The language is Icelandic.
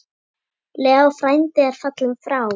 Leó frændi er fallinn frá.